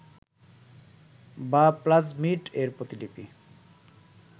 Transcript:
বা প্লাজমিড এর প্রতিলিপি